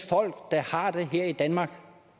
folk der har det her i danmark